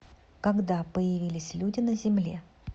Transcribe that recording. когда появились люди на земле